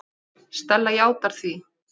Stella játar því.